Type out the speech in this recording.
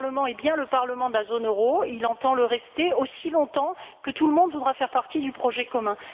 Ce Parlement est bien le Parlement de la zone euro, et il entend le rester aussi longtemps que tout le monde voudra faire partie du projet commun.